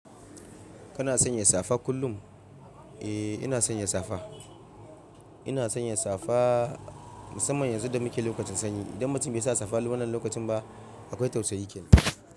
Kana sanya safa kullum? Eh, ina sanya safa. Ina sanya safa musamman yanzu da muke lokacin sanyi. Idan mutum bai sa safa wannan lokacin ba, akwai tausayi kenan.